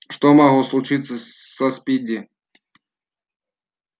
что могло случиться со спиди